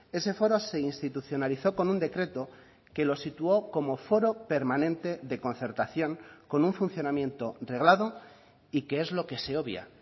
ese foro se institucionalizó con un decreto que lo situó como foro permanente de concertación con un funcionamiento reglado y que es lo que se obvia